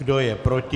Kdo je proti?